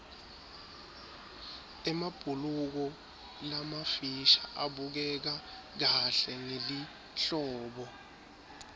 emabhuluko lamafisha abukeka kahle ngelihlobo